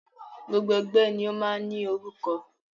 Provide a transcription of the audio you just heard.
Gbogbo ẹgbẹ́ ni o máa ń ní orúkọ.